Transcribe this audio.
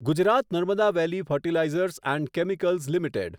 Gujarat Narmada valley fertilizers and chemicals limited